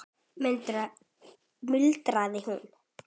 muldrar hún.